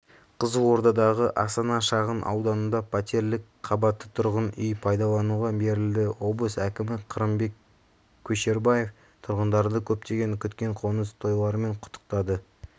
қызылордадағы астана шағын ауданында пәтерлік қабатты тұрғын үй пайдалануға берілді облыс әкімі қырымбек көшербаев тұрғындарды көптен күткен қоныс тойларымен құттықтады